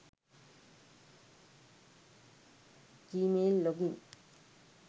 gmail login